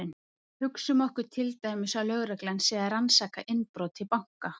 hugsum okkur til dæmis að lögreglan sé að rannsaka innbrot í banka